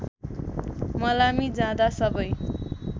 मलामी जाँदा सबै